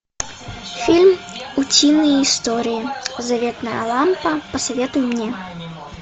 фильм утиные истории заветная лампа посоветуй мне